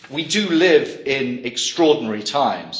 We live in extraordinary times.